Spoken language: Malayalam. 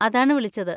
അതാണ് വിളിച്ചത്.